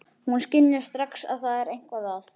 Hún skynjar strax að það er eitthvað að.